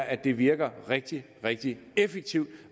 at det virker rigtig rigtig effektivt